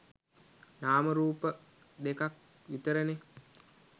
නාම රූප දෙකක් විතරනේ.